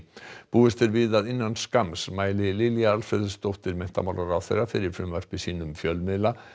búist er við að innan skamms mæli Lilja Alfreðsdóttir menntamálaráðherra fyrir frumvarpi sínu um fjölmiðla